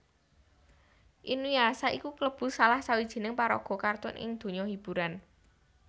Inuyasha iku kalebu salah sawijining paraga kartun ing donya hiburan